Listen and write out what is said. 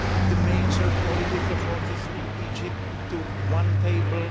the major political forces in Egypt to one table.